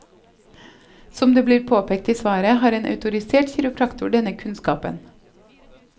Som det blir påpekt i svaret, har en autorisert kiropraktor denne kunnskapen.